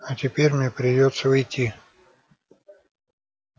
а теперь мне придётся уйти